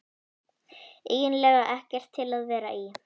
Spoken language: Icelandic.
eiginlega ekkert til að vera í.